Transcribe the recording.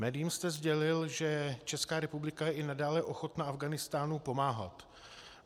Médiím jste sdělil, že Česká republika je i nadále ochotna Afghánistánu pomáhat.